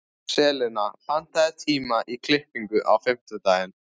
Selina, pantaðu tíma í klippingu á fimmtudaginn.